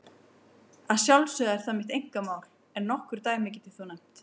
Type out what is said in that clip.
Að sjálfsögðu er það mitt einkamál, en nokkur dæmi get ég þó nefnt.